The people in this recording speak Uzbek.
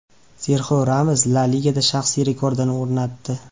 Serxio Ramos La Ligada shaxsiy rekordini o‘rnatdi.